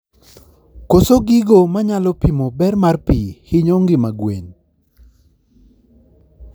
koso gigo manyalo pimo ber mar pii hinyo ngima gwen